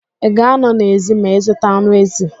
Ị ga a nọ n'èzí ma ị zuta anụ èzì.